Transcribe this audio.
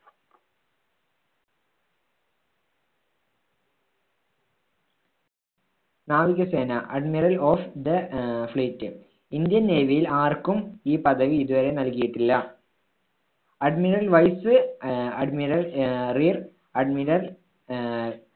നാവികസേന admiral of the ah fleet Indian നേവിയിൽ ആർക്കും ഈ പദവി ഇതുവരെ നൽകിയിട്ടില്ല. admiral vice ah admiral ah rear ah admiral ആഹ്